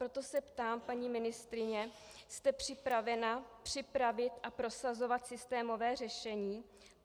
Proto se ptám, paní ministryně, jste připravena připravit a prosazovat systémové řešení?